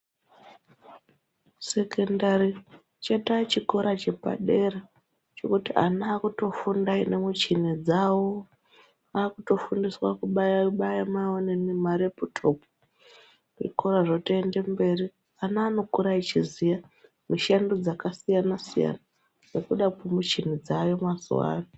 Sekondari chato chikora chepadera chekuti ana votofunda nemuchina dzawo vakutofundiswa kubaiwa baiwa vantu zvikora zvitenda mberi vana vanokura vachiziva mishando dzakasiyana siyana nekuda kwemichini dzayo mazuva ano.